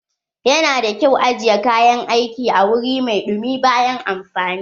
Yana da ƙyau ajiye kayan aiki a wuri mai dumi bayan amfani.